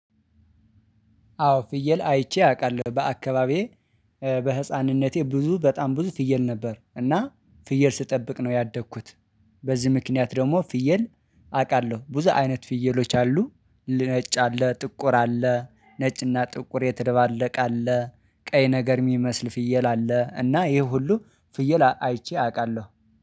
አዎ ፍየል አይቼ አውቃለሁ በአካባቢዬ በህፃንነቴ ብዙ በጣም ብዙ ፍየል ነበር እና ፍየል ስጠብቅ ነው ያደግኩት። በዚህ ምክንያት ደግሞ ፍየል አውቃለሁ ብዙ አይነት ፍየሎች አሉ። ነጭ አለ ጥቁር አለ ነጭ እና ጥቁር የተደባለቀ አለ ቀይ ነገር የሚመስል ፍየል አለ እና ይሄ ሁሉ ፍየል አይቼ አውቃለሁ